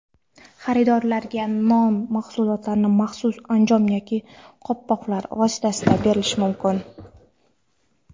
Xaridorlarga non mahsulotlari maxsus anjom yoki qo‘lqoplar vositasida berilishi mumkin.